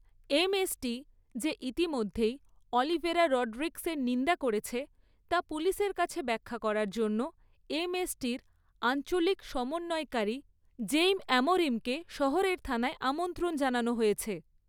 MST যে ইতিমধ্যেই Oliveira রডরিগ্‌‌সের নিন্দা করেছে, তা পুলিশের কাছে ব্যাখ্যা করার জন্য এমএসটির আঞ্চলিক সমন্বয়কারী জেইম অ্যামোরিমকে শহরের থানায় আমন্ত্রণ জানানো হয়েছে৷